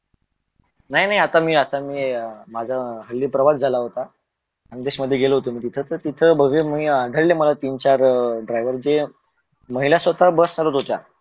नाही नही आता मी आता मी माझा अं हल्ली प्रवास झाला होता खान्देस मधे गेलो होतो मी तिथ तर तिथ तिथ बघेल मी आढळळे तीन चार अं driver जे महिला स्वता बस चालवत होत्या.